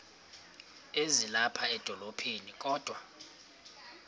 ezilapha edolophini kodwa